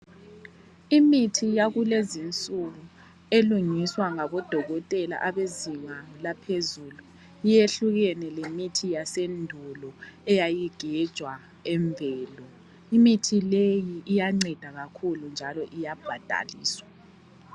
Imithi yakulezi nsuku elungiswa ngabodokotela abezinga laphezulu yehlukene lemithi yasendulo eyayigejwa emvelo. Imithi leyi iyanceda kakhulu njalo iyabhadaliswa.